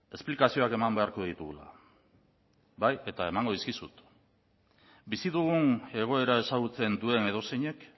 esplikazioak eman beharko ditugula bai eta emango dizkizut bizi dugun egoera ezagutzen duen edozeinek